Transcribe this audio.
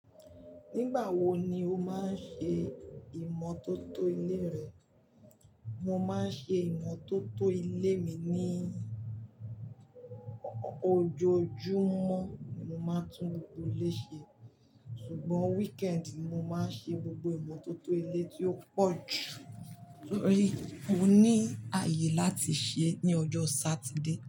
Nígbà wo ni o máa ń ṣe ìmọ́tótó ilé rẹ? Mo máa ń ṣe ìmọ́tótó ilé mi ní ọjọ́ Jumọ̀ ni mo máa tún ilé ṣe. Ṣùgbọ́n weekend ni mo máa ń ṣe gbogbo ìmọ́tótó ilé tí ó pọ̀ jù torí mò ní ààyè láti ṣe ní ọjọ́ Saturday.